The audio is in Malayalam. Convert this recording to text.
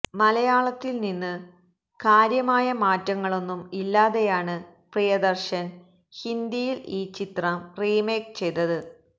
മലയാളത്തില് നിന്ന് കാര്യമായ മാറ്റങ്ങളൊന്നും ഇല്ലാതെയാണ് പ്രിയദര്ശന് ഹിന്ദിയില് ഈ ചിത്രം റീമേക്ക് ചെയ്തത്